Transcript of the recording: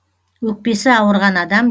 өкпесі ауырған адам